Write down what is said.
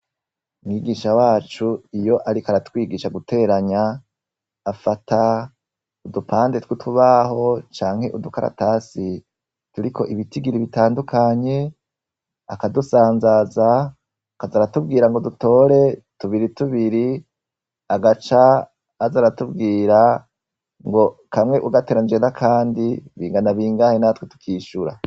Mwigisha wacu iyo ariko aratwigisha guteranya afata udupande twutubaho canke udukaratasi turiko ibitigiri bitandukanye akadusanzaza akaza aratubwira ngo dutore tubiri tubiri agaca azaratubwira ngo kamwe ugateranije nakandi bingana bingahe natwe tukishura